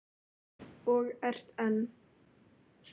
Og ert enn.